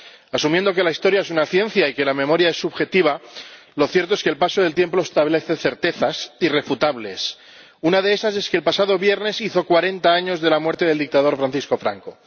Asumiendo que la historia es una ciencia y que la memoria es subjetiva, lo cierto es que el paso del tiempo establece certezas irrefutables. Una de esas es que el pasado viernes hizo cuarenta años de la muerte del dictador Francisco Franco.